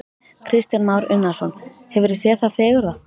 Kristján Már Unnarsson: Hefurðu séð það fegurra?